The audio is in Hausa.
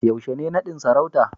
yaushe ne nadin sarauta